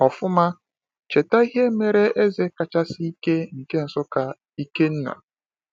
Ọfụma, cheta ihe mere eze kachasị ike nke Nsukka, Ikenna.